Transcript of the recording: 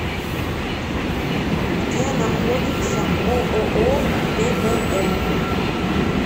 где находится ооо тбм